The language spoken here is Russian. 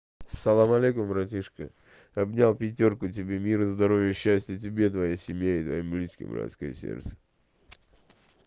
салам алейкум братишка обнял пятёрку тебе мира здоровья счастья тебе и твоей семье и твоим близким братское сердце